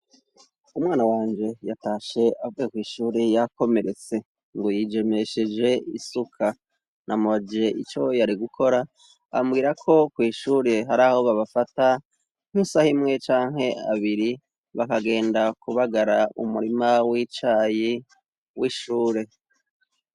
umwana wanje yatashe avuye kw'shuri yakomeretse ngo yitemesheje isuka namubajije ico yariko arakora ambwira ko kw'ishuri hari aho babafata nk'isahimwe canke abiri bakagenda kubagara umurima w'icayi w'ishure